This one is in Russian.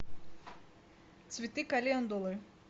цветы календулы